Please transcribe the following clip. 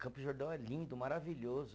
Campos do Jordão é lindo, maravilhoso.